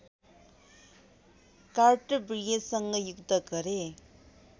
कार्तविर्यसँग युद्ध गरे